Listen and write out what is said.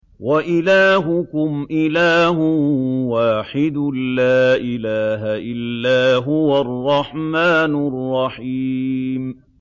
وَإِلَٰهُكُمْ إِلَٰهٌ وَاحِدٌ ۖ لَّا إِلَٰهَ إِلَّا هُوَ الرَّحْمَٰنُ الرَّحِيمُ